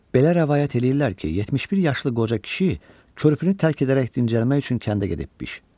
Belə rəvayət eləyirlər ki, 71 yaşlı qoca kişi körpünü tərk edərək dincəlmək üçün kəndə gedibmiş.